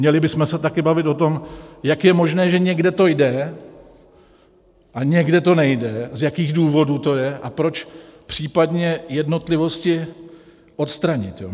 Měli bychom se taky bavit o tom, jak je možné, že někde to jde a někde to nejde, z jakých důvodů to je a proč, případně jednotlivosti odstranit.